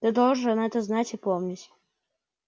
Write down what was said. ты должен это знать и помнить